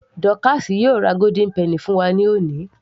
Dọ́káásì yóò ra golden penny fún wa ní òní